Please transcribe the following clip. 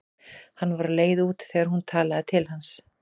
Hann var á leið út þegar hún talaði til hans.